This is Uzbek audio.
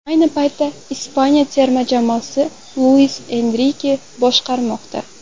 Ayni paytda Ispaniya terma jamoasini Luis Enrike boshqarmoqda.